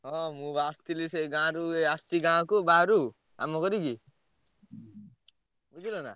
ହଁ ମୁଁ ବା ଆସଥିଲି ସେ ଗାଁରୁ ଏଇ ଆସଚି ଗାଁକୁ ବାହାରୁ କାମ କରିକି। ବୁଝିଲନା?